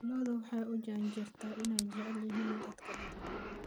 Lo'du waxay u janjeertaa inay jecel yihiin dadka badan.